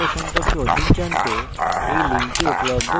spoken tutorial প্রকল্প সম্পর্কে অধিক জানতে to know more about the spokentutorial project